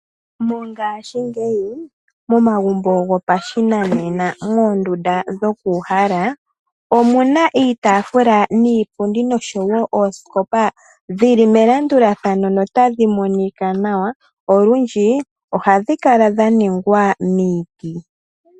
Mongashingeyi momagumbo gopashinanena moondunda dhokuuhala, omu na iitaafula niipundi noshowo oosikopa dhi li melandulathano notadhi monika nawa. Olundji ohadhi kala dha ningwa miiti.